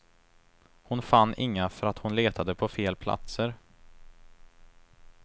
Hon fann inga för att hon letade på fel platser.